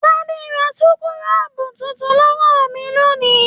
Tade ra súkúrọbuù títún lọwọ mi l'oni.